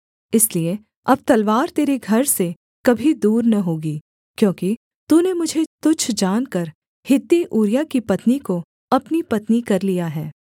इसलिए अब तलवार तेरे घर से कभी दूर न होगी क्योंकि तूने मुझे तुच्छ जानकर हित्ती ऊरिय्याह की पत्नी को अपनी पत्नी कर लिया है